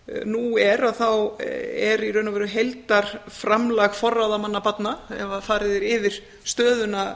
nú er þá er í raun og veru heildarframlag forráðamanna barna ef að farið er yfir stöðuna